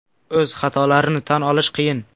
O‘z xatolarni tan olish qiyin.